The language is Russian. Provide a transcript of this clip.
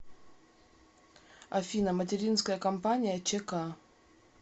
афина материнская компания чк